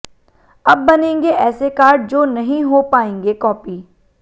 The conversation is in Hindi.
अब बनेंगे ऐसे कार्ड जो नहीं हो पाएंगे कॉपी